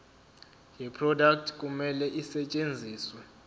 yeproduct kumele isetshenziswe